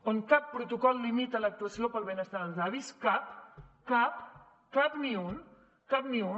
on cap protocol limita l’actuació pel benestar dels avis cap cap cap ni un cap ni un